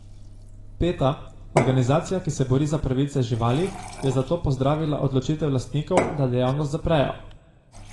Peta, organizacija, ki se bori za pravice živali, je zato pozdravila odločitev lastnikov, da dejavnost zaprejo.